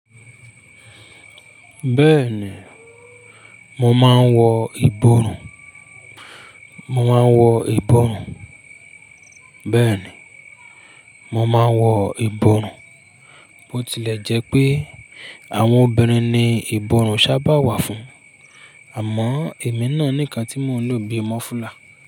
Bẹ́ẹ̀ni, mo máa ń wọ ìborùn. Mo máa ń wọ ìborùn. Bẹ́ẹ̀ni, mo máa ń wọ ìborùn. Ó tilẹ̀ jẹ́ pé àwọn obìnrin ni ìborùn sábà wà fún, àmọ́ èmi náà ní kan tí mo ń lò bí i mọ́fùlà.